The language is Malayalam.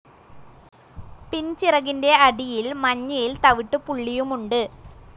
പിൻചിറകിൻ്റെ അടിയിൽ മഞ്ഞയിൽ തവിട്ടുപുള്ളിയുമുണ്ട്.